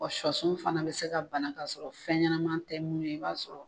Wa sɔ sun fana bɛ se ka bana k'a sɔrɔ fɛn ɲɛnaman tɛ minnu ye, i b'a sɔrɔ